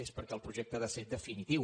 és perquè el projecte ha de ser definitiu